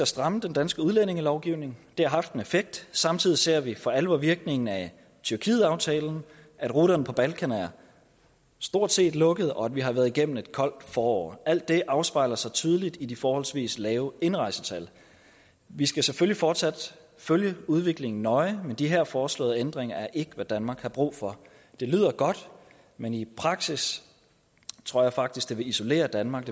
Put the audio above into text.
stramme den danske udlændingelovgivning det har haft en effekt samtidig ser vi for alvor virkningen af tyrkietaftalen at ruterne på balkan stort set er lukket og at vi har været igennem et koldt forår alt det afspejler sig tydeligt i de forholdsvis lave indrejsetal vi skal selvfølgelig fortsat følge udviklingen nøje men de her foreslåede ændringer er ikke hvad danmark har brug for det lyder godt men i praksis tror jeg faktisk det vil isolere danmark